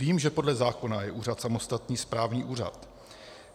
Vím, že podle zákona je úřad samostatný správní úřad.